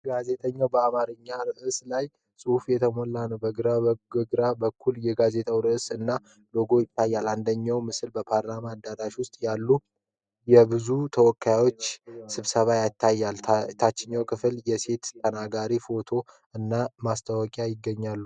ጋዜጣው በአማርኛ ርዕሶች እና ጽሑፎች የተሞላ ነው። በላይኛው ግራ በኩል የጋዜጣው አርዕስት እና ሎጎ ይታያል። አንደኛው ምስል በፓርላማ አዳራሽ ውስጥ ያሉ የብዙ ተወካዮችን ስብሰባ ያሳያል። ታችኛው ክፍል የሴት ተናጋሪዎች ፎቶዎች እና ማስታወቂያዎች ይገኛሉ።